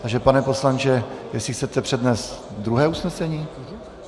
Takže pane poslanče, jestli chcete přednést druhé usnesení?